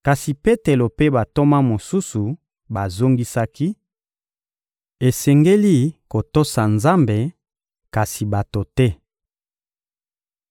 Kasi Petelo mpe bantoma mosusu bazongisaki: — Esengeli kotosa Nzambe, kasi bato te!